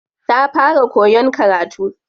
Ta fara koyan karatu.